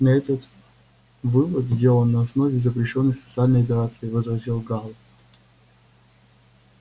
но этот вывод сделан на основе запрещённой социальной операции возразил гаал